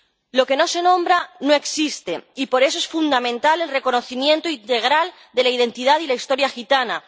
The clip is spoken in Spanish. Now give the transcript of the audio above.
Lo que no se nombra no existe, y por eso es fundamental el reconocimiento integral de la identidad y la historia gitanas.